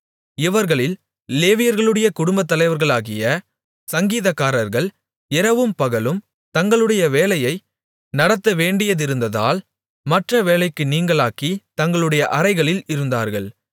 இவர்களில் லேவியர்களுடைய குடும்பத்தலைவர்களாகிய சங்கீதக்காரர்கள் இரவும் பகலும் தங்களுடைய வேலையை நடத்தவேண்டியதிருந்ததால் மற்ற வேலைக்கு நீங்கலாகித் தங்களுடைய அறைகளில் இருந்தார்கள்